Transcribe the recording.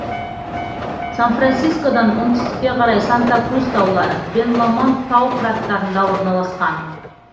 сан францискодан оңтүстікке қарай санта крус таулары бен ломонд тау қыраттарында орналасқан